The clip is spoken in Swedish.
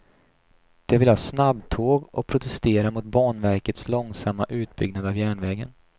De vill ha snabbtåg och protesterar mot banverkets långsamma utbyggnad av järnvägen.